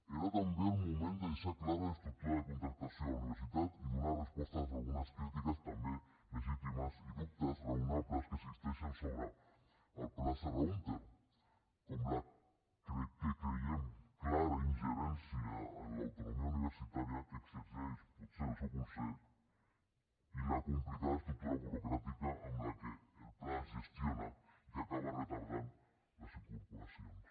era també el moment de deixar clara l’estructura de contractació a la universitat i donar resposta a algunes crítiques també legítimes i dubtes raonables que existeixen sobre el pla serra húnter com la que creiem clara ingerència en l’autonomia universitària que exerceix potser el seu concert i la complicada estructura burocràtica amb què el pla es gestiona i que acaba retardant les incorporacions